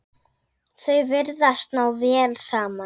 Þau virðast ná vel saman.